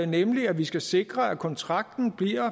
nemlig at vi skal sikre at kontrakten